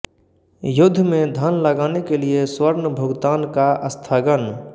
युद्ध में धन लगाने के लिए स्वर्ण भुगतान का स्थगन